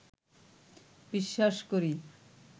বিশ্বাস করি